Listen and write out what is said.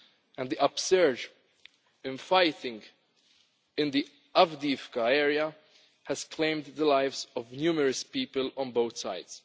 And the upsurge in fighting in the Avdiivka area has claimed the lives of numerous people on both sides.